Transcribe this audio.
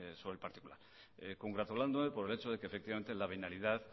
sobre el particular congratulándome por el hecho de que efectivamente la venalidad